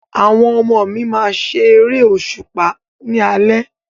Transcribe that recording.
Àwọn ọmọ mi máa ṣe eré òṣùpá ni alẹ́